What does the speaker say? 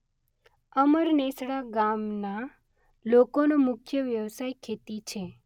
અમરનેસડા ગામના લોકોનો મુખ્ય વ્યવસાય ખેતી છે.